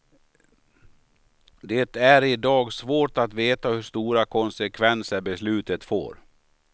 Det är i dag svårt att veta hur stora konsekvenser beslutet får.